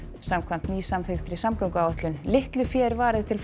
samkvæmt nýsamþykktri samgönguáætlun litlu fé er varið til